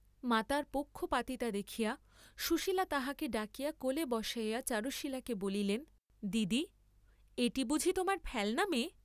মাতার পক্ষপাতিতা দেখিয়া সুশীলা তাহাকে ডাকিয়া কোলে বসাইয়া চারুশীলাকে বলিলেন দিদি, এটি বুঝি তোমার ফেল্‌না মেয়ে?